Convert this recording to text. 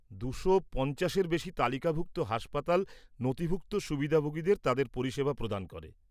দুশো পঞ্চাশের বেশি তালিকাভুক্ত হাসপাতাল নথিভুক্ত সুবিধাভোগীদের তাদের পরিষেবা প্রদান করে।